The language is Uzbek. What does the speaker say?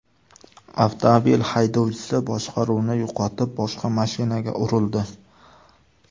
Avtomobil haydovchisi boshqaruvni yo‘qotib, boshqa mashinaga urildi.